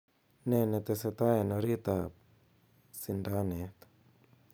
nee netesetai en oriit ab sindaneet